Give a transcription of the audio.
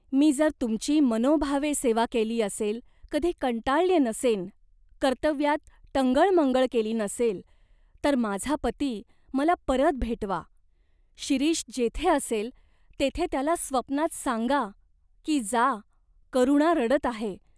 मी जर तुमची मनोभावे सेवा केली असेल, कधी कंटाळल्ये नसेन, कर्तव्यात टंगळमंगळ केली नसेल तर माझा पती मला परत भेटवा. शिरीष जेथे असेल तेथे त्याला स्वप्नात सांगा की जा, करुणा रडत आहे.